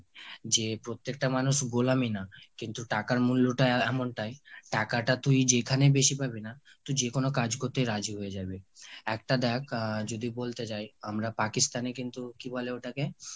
যে প্রত্যেকটা মানুষ গোলামি না। কিন্তু টাকার মূল্যটা এমনটাই। টাকাটা তুই যেইখানে বেশি পাবি না তুই যে কোনো কাজ করতে রাজি হয়ে যাবি। একটা দ্যাখ আহ যদি বলতে যাই আমরা Pakistan এ কিন্তু কি বলে ওটাকে?